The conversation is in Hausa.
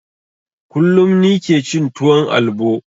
Kullum nike cin tuwon albo